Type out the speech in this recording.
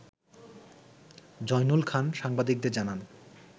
জয়নুল খান সাংবাদিকদের জানান